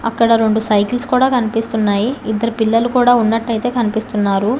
అక్కడ రెండు సైకిల్స్ కుడా కనిపిస్తున్నాయి ఇద్దరు పిల్లలు కుడా ఉన్నటు కనిపిస్తున్నారు.